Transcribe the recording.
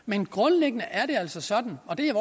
men grundlæggende er det altså sådan og det er